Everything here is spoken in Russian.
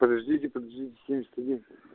подождите подождите семьдесят один